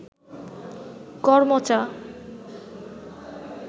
করমচা